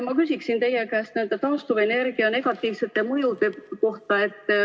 Ma küsiksin teie käest nende taastuvenergia negatiivsete mõjude kohta.